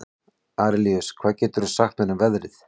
Arilíus, hvað geturðu sagt mér um veðrið?